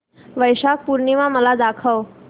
वैशाख पूर्णिमा मला दाखव